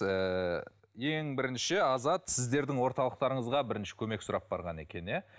ыыы ең бірінші азат сіздердің орталықтарыңызға бірінші көмек сұрап барған екен иә